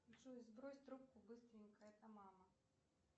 джой сбрось трубку быстренько это мама